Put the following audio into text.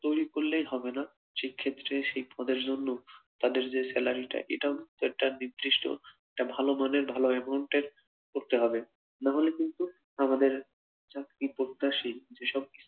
তৈরি করলেই হবেনা, সেই ক্ষেত্রে সেই পদের জন্য তাদের যে স্যালারি টা এটাও একটা নির্দিষ্ট একটা ভালো মানের একটা ভালো amount এর করতে হবে, নাহলে কিন্তু আমাদের চাকরির প্রত্যাশী যে সব